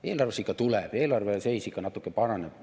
Eelarvesse ikka tuleb, eelarve seis ikka natuke paraneb.